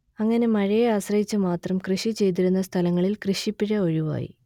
അങ്ങനെ മഴയെ ആശ്രയിച്ചു മാത്രം കൃഷി ചെയ്തിരുന്ന സ്ഥലങ്ങളിൽ കൃഷിപ്പിഴ ഒഴിവായി